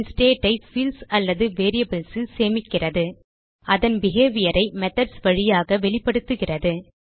அதன் ஸ்டேட் ஐ பீல்ட்ஸ் அல்லது வேரியபிள்ஸ் ல் சேமிக்கிறது அதன் behaviorஐ மெத்தோட்ஸ் வழியாக வெளிப்படுத்துகிறது